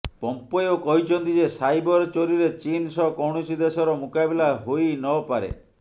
Pompeo କହିଛନ୍ତି ଯେ cyber ଚୋରିରେ ଚୀନ୍ ସହ କୌଣସି ଦେଶର ମୁକାବିଲା ହୋଇ ନ ପାରେ